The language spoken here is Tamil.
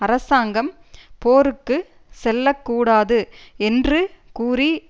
அரசாங்கம் போருக்கு செல்ல கூடாது என்று கூறி